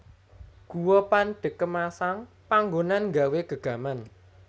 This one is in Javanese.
Guwa Pandekemasang panggonan nggawé gegaman